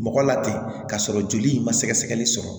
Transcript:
Mɔgɔ la ten k'a sɔrɔ joli in ma sɛgɛsɛgɛli sɔrɔ